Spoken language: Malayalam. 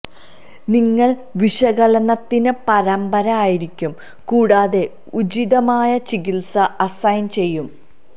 നിങ്ങൾ വിശകലനത്തിന് പരമ്പര ആയിരിക്കും കൂടാതെ ഉചിതമായ ചികിത്സ അസൈൻ ചെയ്യും